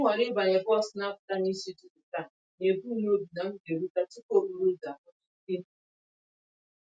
M họọrọ ịbanye bọs n'apụta n'isi ụtụtụ taa, nebum nobi na m g'eruta tupu okporouzo akpochisie